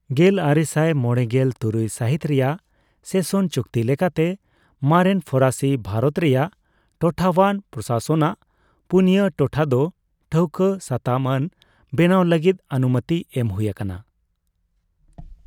ᱜᱮᱞ ᱟᱨᱮᱥᱟᱭ ᱢᱚᱲᱮᱜᱮᱞ ᱛᱩᱨᱩᱭ ᱥᱟᱹᱦᱤᱛ ᱨᱮᱭᱟᱜ ᱥᱮᱥᱚᱱ ᱪᱩᱠᱛᱤ ᱞᱮᱠᱟᱛᱮ, ᱢᱟᱨᱮᱱ ᱯᱷᱚᱨᱟᱥᱤ ᱵᱷᱟᱨᱚᱛ ᱨᱮᱭᱟᱜ ᱴᱚᱴᱷᱟᱣᱟᱱ ᱯᱨᱚᱥᱟᱥᱚᱱᱟᱜ ᱯᱩᱱᱤᱭᱟ ᱴᱚᱴᱷᱟᱫᱚ ᱴᱷᱟᱹᱣᱠᱟ ᱥᱟᱛᱟᱢ ᱟᱹᱱ ᱵᱮᱱᱟᱣ ᱞᱟᱹᱜᱤᱫ ᱚᱱᱩᱢᱚᱛᱤ ᱮᱢ ᱦᱩᱭᱟᱠᱟᱱᱟ ᱾